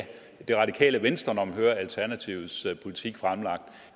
radikale venstre når man hører alternativets politik fremlagt